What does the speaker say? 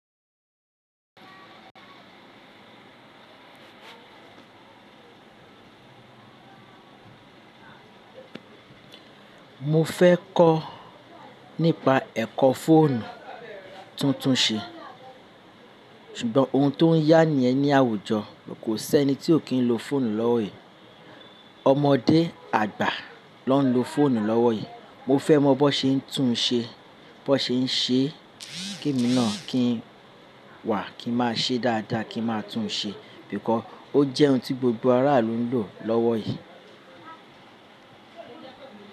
Mo fẹ́ kọ́ nípa ẹ̀kọ́ fóònù tuntun ṣe, ṣùgbọ́n ohun tó ń yá ni yẹn ní àwùjọ, kò sí ẹni tí ò kí ń lo fóònù lọ́wọ́ yìí. Ọmọdé àgbà ló ń lo fóònù lọ́wọ́ yìí. Mo fẹ́ mọ bó ṣe ń tún un ṣe, bó ṣe ń ṣe, kí emi náà kí ń wà, kí ń máa ṣe dáadáa, kí ń máa tún un ṣe, because ó jẹ́ ohun tí gbogbo aráàlú ń lò lọ́wọ́ yìí.